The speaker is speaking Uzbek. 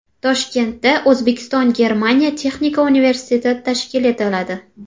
Toshkentda O‘zbekistonGermaniya texnika universiteti tashkil etiladi.